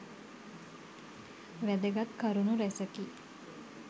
වැදගත් කරුණු රැසකි.